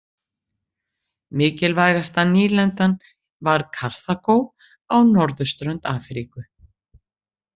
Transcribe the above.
Mikilvægasta nýlendan var Karþagó á norðurströnd Afríku.